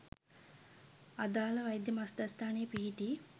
අදාළ වෛද්‍ය මධ්‍යස්‌ථානයේ පිහිටි